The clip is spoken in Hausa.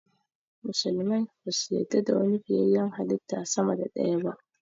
Musulmai basu yarda da wani fiyayyen halitta sama da ɗaya ba